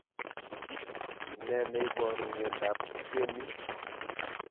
Neneiparu miondop keminy